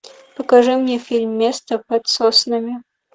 покажи мне фильм место под соснами